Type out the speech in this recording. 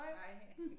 Hej